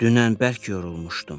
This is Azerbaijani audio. Dünən bərk yorulmuşdum.